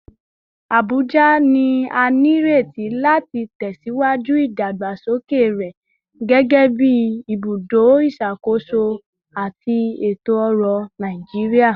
Abuja ni a nireti lati tẹsiwaju idagbasoke rẹ gẹgẹbi ibudo iṣakoso ati eto-ọrọ eto-ọrọ Naijiria